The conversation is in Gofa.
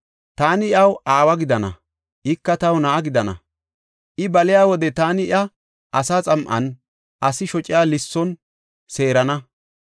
Taani iyaw aawa gidana; ika taw na7a gidana. I baliya wode taani iya asa xam7an, asi shociya lisson seerana.